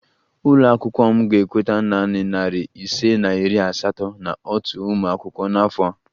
Ụlọ akwụkwọ m ga-ekweta nanị narị ise na iri asatọ na otu ụmụ akwụkwọ n'afọ a